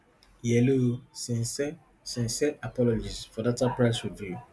yhello sincere sincere apologies for data price review